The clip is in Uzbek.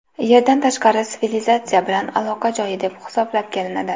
Yerdan tashqari sivilizatsiya bilan aloqa joyi deb hisoblab kelinadi.